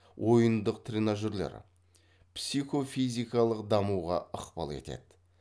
ойындык тренажерлер психофизикалық дамуға ықпап етеді